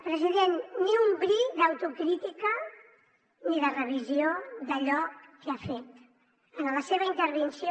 president ni un bri d’auto crítica ni de revisió d’allò que ha fet en la seva intervenció